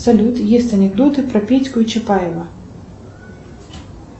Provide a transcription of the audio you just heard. салют есть анекдоты про петьку и чапаева